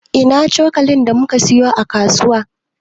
Ina cokalin da muka siyo a kasuwa?